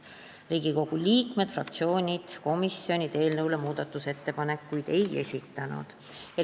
Riigikogu liikmed, fraktsioonid ega komisjonid eelnõu kohta muudatusettepanekuid ei esitanud.